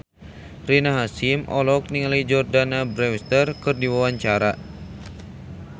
Rina Hasyim olohok ningali Jordana Brewster keur diwawancara